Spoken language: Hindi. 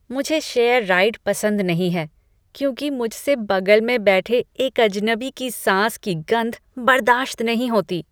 मुझे शेयर राइड पसंद नहीं हैं, क्योंकि मुझसे बगल में बैठे एक अजनबी की सांस की गंध बर्दाश्त नहीं होती।